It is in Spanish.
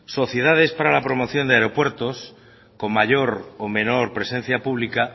sociedades para la creación de aeropuertos con mayor o menor presencia pública